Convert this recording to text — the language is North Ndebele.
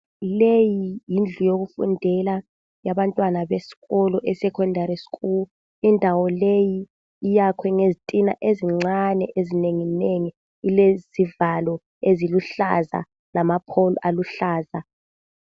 Leyi yindlu yokufundela yabantwana besikolo eSecondary school. Indawo leyi iyakhwe ngezitina ezincane ezinenginengi. Ilezivalo eziluhlaza lamaphowulu aluhlaza.